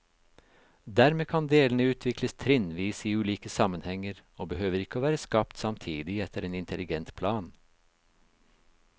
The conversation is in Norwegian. Dermed kan delene utvikles trinnvis i ulike sammenhenger, og behøver ikke å være skapt samtidig etter en intelligent plan.